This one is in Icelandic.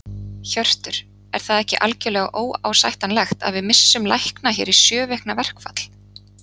Hjörtur: Er það ekki algjörlega óásættanlegt að við missum lækna hér í sjö vikna verkfall?